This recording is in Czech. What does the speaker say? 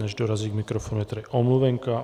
Než dorazí k mikrofonu, je tady omluvenka.